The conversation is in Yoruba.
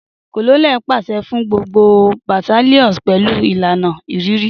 Colonels paṣẹ fun gbogbo battalions pẹlu ilana ĭrìrĭ.